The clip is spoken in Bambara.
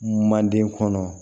Manden kɔnɔ